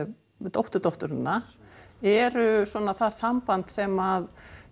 dótturdótturina eru það samband sem